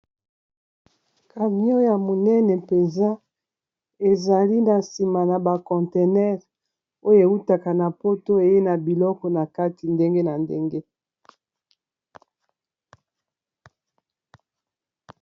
Camion ya monene mpenza ezali na sima na ba contenaire oyo ewutaka na poto eye na biloko na kati ndenge na ndenge